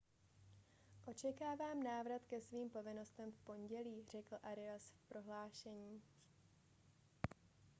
očekávám návrat ke svým povinnostem v pondělí řekl arias v prohlášení